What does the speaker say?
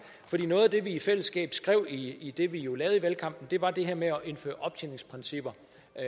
noget af det vi i fællesskab skrev i i det vi jo lavede i valgkampen var det her med at indføre optjeningsprincipper